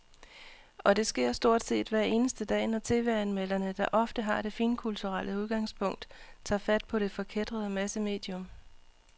Og det sker stort set hver eneste dag, når tv-anmelderne, der ofte har det finkulturelle udgangspunkt, tager fat på det forkætrede massemedium.